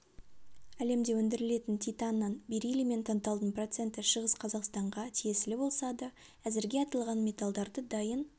әлемде өндірілетін титанның берилий мен танталдың проценті шығыс қазақстанға тиесілі болса да әзірге аталған металдарды дайын